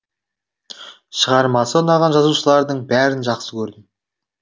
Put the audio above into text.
шығармасы ұнаған жазушылардың бәрін жақсы көрдім